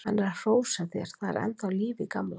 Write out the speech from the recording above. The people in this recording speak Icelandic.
Hann er að hrósa þér, það er ennþá líf í gamla.